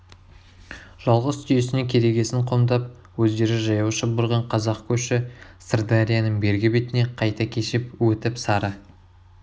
жалғыз түйесіне керегесін қомдап өздері жаяу шұбырған қазақ көші сырдарияның бергі бетіне қайта кешіп өтіп сары